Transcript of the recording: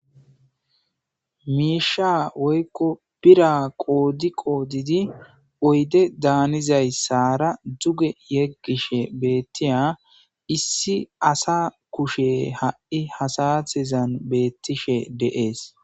Miisha woykko pira qoodi qoodidi oyde daanizay sara duge yeggishe beettiya issi asa kushe ha'i hasatezan beettishe deees